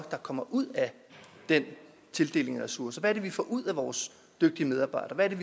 kommer ud af den tildeling af ressourcer det vi får ud af vores dygtige medarbejdere hvad det